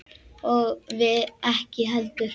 Og við ekki heldur.